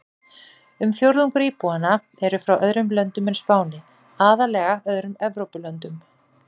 Um fjórðungur íbúanna eru frá öðrum löndum en Spáni, aðallega öðrum Evrópulöndum.